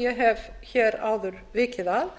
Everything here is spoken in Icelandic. ég hef hér áður vikið að